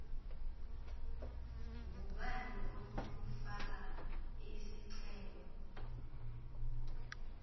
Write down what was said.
ngubani onokufaka isicelo